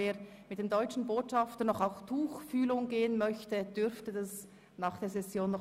Wer mit dem Deutschen Botschafter auf Tuchfühlung gehen möchte, darf das nach der Session tun.